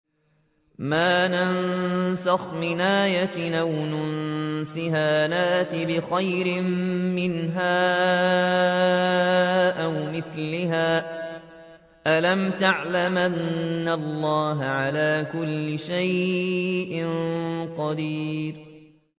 ۞ مَا نَنسَخْ مِنْ آيَةٍ أَوْ نُنسِهَا نَأْتِ بِخَيْرٍ مِّنْهَا أَوْ مِثْلِهَا ۗ أَلَمْ تَعْلَمْ أَنَّ اللَّهَ عَلَىٰ كُلِّ شَيْءٍ قَدِيرٌ